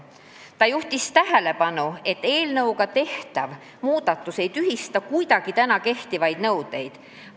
" Agris Koppel juhtis tähelepanu, et eelnõuga tehtav muudatus ei tühista kuidagi praegu kehtivaid nõudeid.